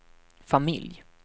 familj